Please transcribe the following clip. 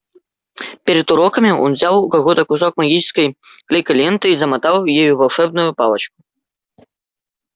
перед уроками он взял у кого-то кусок магической клейкой ленты и замотал ею волшебную палочку